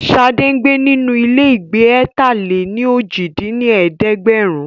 Sade ń gbé nínú ilégbèé ẹ̀ta-lé-ní-ojì dín ní ẹ̀ẹ́dẹ́gbẹ́rún